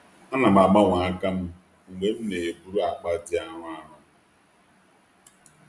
Ana m agbanwe aka m mgbe m na-eburu akpa dị arọ. arọ.